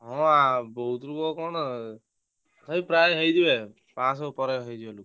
ହଁ ଆ ବହୁତ ଲୋକ କଣ ଏଇ ପ୍ରାୟେ ହେଇଯିବେ ପାଂଶହ ଉପରେ ହେଇଯିବେ ଲୋକ।